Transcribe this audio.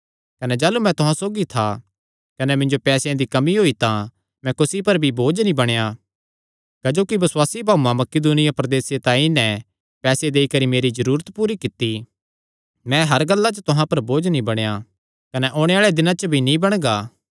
कने जाह़लू मैं तुहां सौगी था कने मिन्जो पैसेयां दी कमी होई तां मैं कुसी पर भी बोझ नीं बणेया क्जोकि बसुआसी भाऊआं मकिदुनिया प्रदेसे ते आई नैं पैसे देई करी मेरी जरूरत पूरी कित्ती मैं हर गल्ला च तुहां पर बोझ नीं बणेया कने ओणे आल़े दिनां च भी नीं बणगा